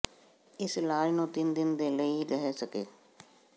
ਇਸ ਇਲਾਜ ਨੂੰ ਤਿੰਨ ਦਿਨ ਦੇ ਲਈ ਰਹਿ ਸਕੇ